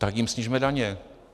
Tak jim snižme daně.